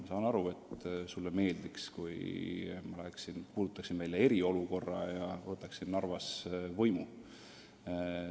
Ma saan aru, et sulle meeldiks, kui ma kuulutaksin välja eriolukorra ja võtaksin Narvas võimu.